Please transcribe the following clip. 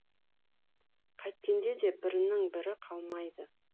қайткенде де бірінен бірі қалмайды